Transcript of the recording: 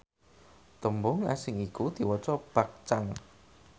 tembung asing iku diwaca bakcang